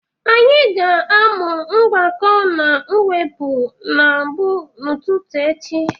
Anyị ga-amụ mgbakọ na mwepụ mbụ n'ụtụtụ echi.